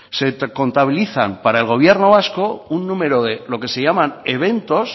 se contabilizan para el gobierno vasco un número de lo que se llaman eventos